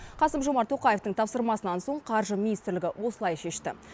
қасым жомарт тоқаевтың тапсырмасынан соң қаржы министрлігі осылай шешті